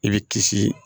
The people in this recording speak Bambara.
I bɛ kisi